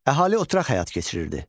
Əhali oturaq həyat keçirirdi.